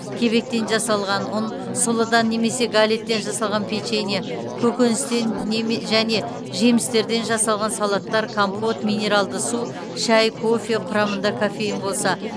кебектен жасалған ұн сұлыдан немесе галеттен жасалған печенье көкөністен және жемістерден жасалған салаттар компот минералды су шәй кофе құрамында кофеин болса